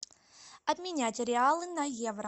обменять реалы на евро